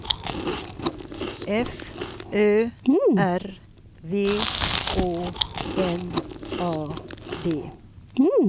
F Ö R V Å N A D